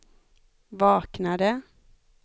vaknade